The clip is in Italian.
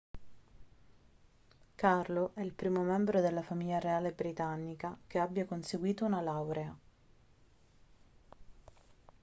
carlo è il primo membro della famiglia reale britannica che abbia conseguito una laurea